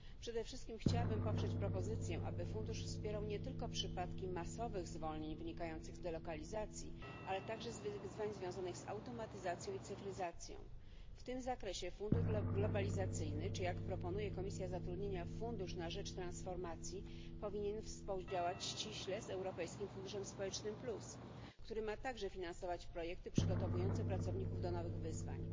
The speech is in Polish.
Przede wszystkim chciałabym poprzeć propozycję, aby fundusz wspierał nie tylko przypadki masowych zwolnień wynikających z delokalizacji, ale także z wyzwań związanych z automatyzacją i cyfryzacją. W tym zakresie fundusz globalizacyjny czy, jak proponuje Komisja Zatrudnienia, fundusz na rzecz transformacji powinien współdziałać ściśle z Europejskim Funduszem Społecznym Plus, który ma także finansować projekty przygotowujące pracowników do nowych wyzwań.